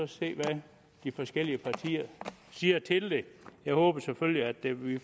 se hvad de forskellige partier siger til det jeg håber selvfølgelig at vi vi